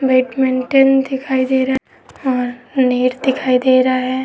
Badminton दिखाई दे रहा है और नेट दिखाई दे रहा है।